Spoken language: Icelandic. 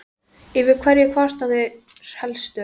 Yfir hverju kvarta þeir helst?